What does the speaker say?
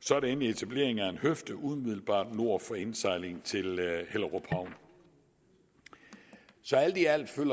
så er der endelig etablering af en høfde umiddelbart nord for indsejlingen til hellerup havn så alt i alt følger